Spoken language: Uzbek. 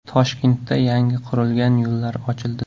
Toshkentda yangi qurilgan yo‘llar ochildi .